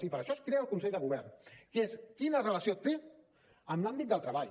i per això es crea el consell de govern que és quina relació té amb l’àmbit del treball